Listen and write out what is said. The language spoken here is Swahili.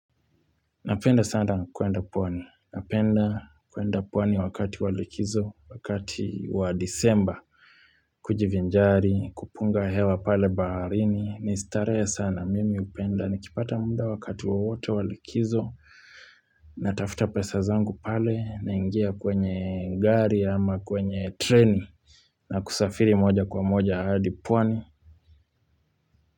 Napenda sana kuenda pwani, napenda kuenda pwani wakati wa likizo, wakati wa disemba, kujivinjari, kupunga hewa pale baharini, ni starehe sana mimi upenda, nikipata muda wakati wowote wa likizo, natafuta pesa zangu pale, naingia kwenye gari ama kwenye treni, na kusafiri moja kwa moja hadi pwani.